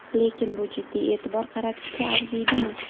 Lekin bu jiddiy e’tibor qaratishga arziydimi?